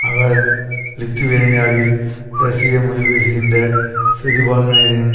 அவர் லித்துவேனியாவில் ரஷ்ய மொழி பேசுகின்ற சிறுபான்மையினரின்